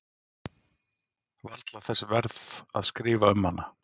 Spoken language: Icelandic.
Varla þess verð að skrifa um hana.